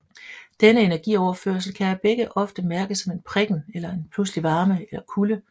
Denne energioverførsel kan af begge ofte mærkes som en prikken eller en pludselig varme eller kulde